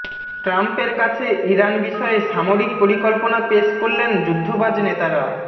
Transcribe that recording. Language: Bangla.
ট্রাম্পের কাছে ইরান বিষয়ে সামরিক পরিকল্পনা পেশ করলেন যুদ্ধবাজ নেতারা